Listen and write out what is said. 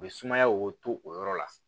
U bɛ sumayaw to o yɔrɔ la